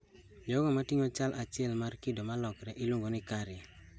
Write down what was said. Jogo mating'o chal achiel mar kido molokre iluongo ni carrier